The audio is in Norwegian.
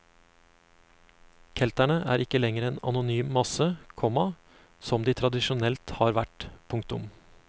Kelterne er ikke lenger en anonym masse, komma som de tradisjonelt har vært. punktum